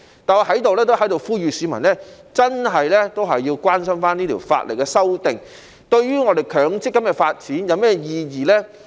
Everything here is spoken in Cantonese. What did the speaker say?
但是，我在這裏也呼籲市民，真的要關心這項法例修訂，對於強制性公積金的發展有甚麼意義呢？